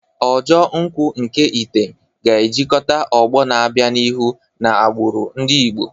Ojo nkwu nke item ga-ejikọta ọgbọ na-abịa n'ihu na agbụrụ ndị Igbo.